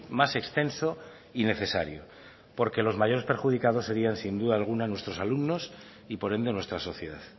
más extenso y necesario porque los mayores perjudicados serían sin duda alguna nuestros alumnos y por ende nuestra sociedad